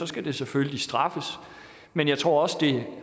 skal det selvfølgelig straffes men jeg tror også det